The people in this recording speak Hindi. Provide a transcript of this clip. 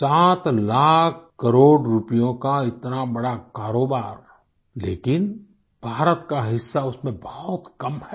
7 लाख करोड़ रुपयों का इतना बड़ा कारोबार लेकिन भारत का हिस्सा उसमें बहुत कम है